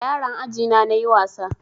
Da yaran aji na nayi wasa